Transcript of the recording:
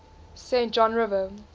saint john river